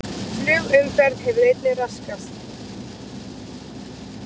Flugumferð hefur einnig raskast